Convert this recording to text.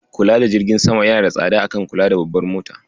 Kula da jirgin sama yana da tsada a kan kula da babbar mota.